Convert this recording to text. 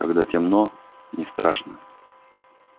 когда темно не страшно